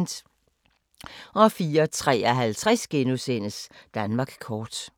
04:53: Danmark kort *